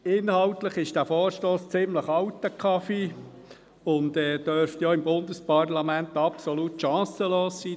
Inhaltlich ist dieser Vorstoss ziemlich alter Kaffee, und er dürfte auch im Bundesparlament absolut chancenlos sein.